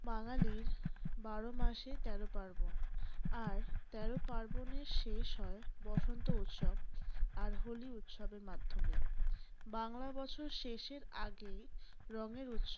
বাঙালীর বারো মাসে তেরো পার্বণ । আর তেরো পার্বণের শেষ হয় বসন্ত উৎসব আর হোলি উৎসবের মাধ্যমে। বাংলা বছর শেষের আগেই রঙের উৎসব।